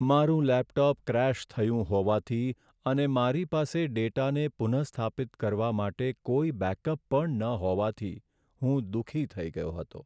મારું laptop crash થયું હોવાથી અને મારી પાસે ડેટાને પુનઃસ્થાપિત કરવા માટે કોઈ બેકઅપ પણ ન હોવાથી હું દુઃખી થઈ ગયો હતો.